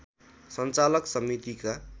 सञ्चालक समितिका